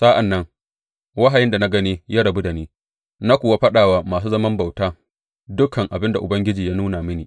Sa’an nan wahayin da na gani ya rabu da ni, na kuwa faɗa wa masu zaman bautan dukan abin da Ubangiji ya nuna mini.